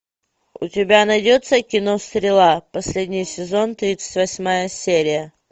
у тебя найдется кино стрела последний сезон тридцать восьмая серия